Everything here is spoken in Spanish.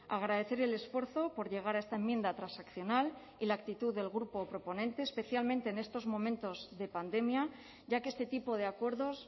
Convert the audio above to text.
agradecer el esfuerzo por llegar a esta enmienda transaccional y la actitud del grupo proponente especialmente en estos momentos de pandemia ya que este tipo de acuerdos